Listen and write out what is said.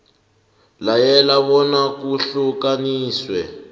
layela bona kuhlukaniswe